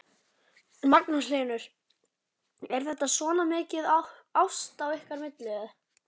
Magnús Hlynur: Er þetta svona mikið ást á milli ykkar?